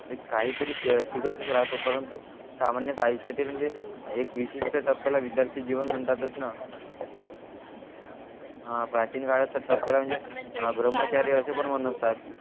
एक काही तरी शिकतच राहतो परंतु आयुष्यात म्हणजे एक विशिष्ट टप्याला विद्यार्थी जीवन म्हणतातच ना हा प्राचीन काळात तर म्हणजे आह ब्रह्मचारी असे पण म्हणतात